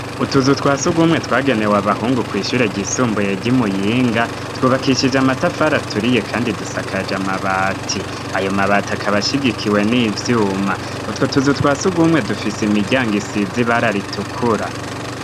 Utuzu twa surwumwe twagenewe abahungu kw' ishure ryisumbuye ry'i Muyinga, twubakishije amatafari aturiye kandi dusakaje mabati. Ayo mabati akaba ashigikiwe n'ivyuma . Utwo tuzu twa surwumwe dufise imiryango isize ibara ritukura.